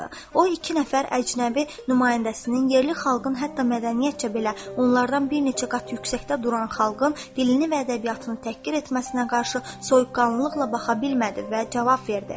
O iki nəfər əcnəbi nümayəndəsinin yerli xalqın hətta mədəniyyətcə belə onlardan bir neçə qat yüksəkdə duran xalqın dilini və ədəbiyyatını təhqir etməsinə qarşı soyuqqanlıqla baxa bilmədi və cavab verdi.